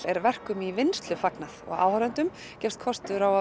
er verkum í vinnslu fagnað og áhorfendum gefst kostur á